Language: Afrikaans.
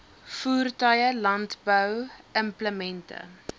voertuie landbou implemente